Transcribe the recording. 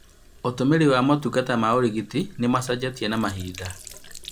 Ũtũmĩrĩ wa motungata ma ũrigiti nĩ macenjetie na Mahinda